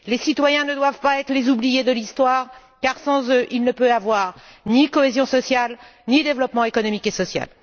Les citoyens ne doivent pas être les oubliés de l'histoire car, sans eux, il ne peut y avoir ni cohésion sociale, ni développement économique et social.